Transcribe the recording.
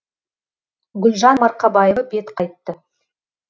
гүлжан марқабаева бет қайтты